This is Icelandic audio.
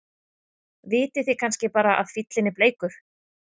Vitið þið kannski bara að fíllinn er bleikur?